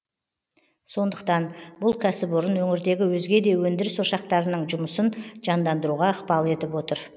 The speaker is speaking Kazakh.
сондықтан бұл кәсіпорын өңірдегі өзге де өндіріс ошақтарының жұмысын жандандыруға ықпал етіп отыр